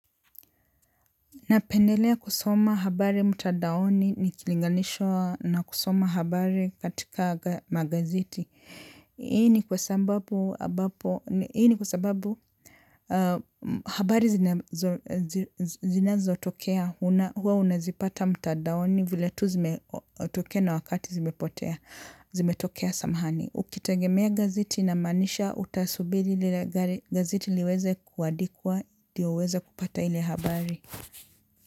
Napendelea kusoma habari mtandaoni nikilinganishwa na kusoma habari katika magazeti. Hii ni kwa sababu habari zinazotokea. Huwa unazipata mtandaoni vile tu zimetokea na wakati zimepotea, zimetokea samahani. Ukitegemea gazeti inamaanisha utasubiri lile gazeti liweze kuandikwa ndio uweze kupata ile habari.